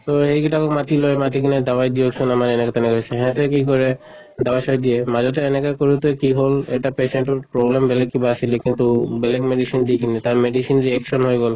তʼ সেইগিটাক মাতি লয়, মাতি কিনে দাৱাই দিয়ক্চোন আমাৰ এনেকা তেনেকা হৈছে। ইহঁতে কি কৰে দাৱাই চাৱাই দিয়ে, মাজতে এনেকা কৰোতে কি হʼল এটা patient টোৰ problem বেলেগ কিবা আছিলে কিন্তু বেলেগ medicine কিনে তাৰ medicine যে action হৈ গʼল